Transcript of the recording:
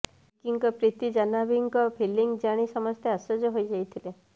ବିକିଙ୍କ ପ୍ରତି ଜାହ୍ନବୀଙ୍କ ଫିଲିଙ୍ଗ ଜାଣି ସମସ୍ତେ ଆଶ୍ଚର୍ଯ୍ୟ ହୋଇ ଯାଇଥିଲେ